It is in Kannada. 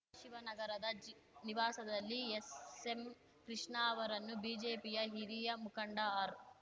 ಶಿವನಗರದ ಜಿ ನಿವಾಸದಲ್ಲಿ ಎಸ್ಎಂ ಕೃಷ್ಣ ಅವರನ್ನು ಬಿಜೆಪಿಯ ಹಿರಿಯ ಮುಖಂಡ ಆರ್